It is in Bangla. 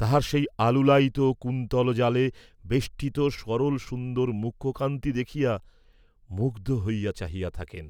তাহার সেই আলুলায়িত কুন্তলজালে বেষ্টিত সরলসুন্দর মুখকান্তি দেখিয়া মুগ্ধ হইয়া চাহিয়া থাকেন।